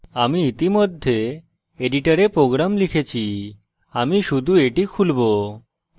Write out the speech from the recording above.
আমি ইতিমধ্যে editor program লিখেছি আমি শুধু এটি খুলবো